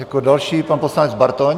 Jako další pan poslanec Bartoň.